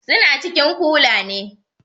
Su na cikin kula ne